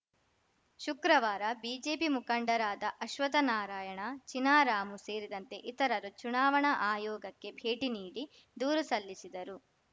ಶುಕ್ರವಾರ ಬಿಜೆಪಿ ಮುಖಂಡರಾದ ಅಶ್ವತ್ಥ ನಾರಾಯಣ ಚಿನಾರಾಮು ಸೇರಿದಂತೆ ಇತರರು ಚುನಾವಣಾ ಆಯೋಗಕ್ಕೆ ಭೇಟಿ ನೀಡಿ ದೂರು ಸಲ್ಲಿಸಿದರು